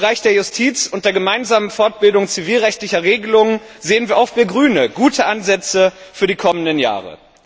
Im Bereich der Justiz und der gemeinsamen Fortbildung zivilrechtlicher Regelungen sehen auch wir Grüne gute Ansätze für die kommenden Jahre.